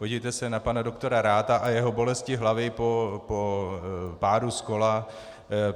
Podívejte se na pana doktora Ratha a jeho bolesti hlavy po pádu z kola.